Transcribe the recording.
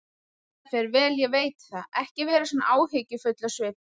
Þetta fer vel, ég veit það, ekki vera svona áhyggjufull á svipinn.